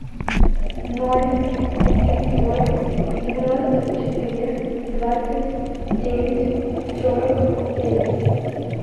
ноль девятьсот девяносто четыре двадцать девять сорок девять